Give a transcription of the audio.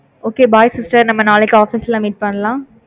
okay bye sister நம்ம நாளைக்கு office ல meet பண்ணலாம்